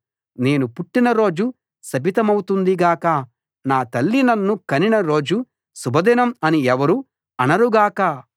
నేను పుట్టిన రోజు శపితమౌతుంది గాక నా తల్లి నన్ను కనిన రోజు శుభదినం అని ఎవరూ అనరుగాక